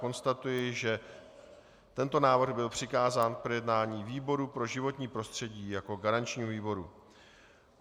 Konstatuji, že tento návrh byl přikázán k projednání výboru pro životnímu prostředí jako garančnímu výboru.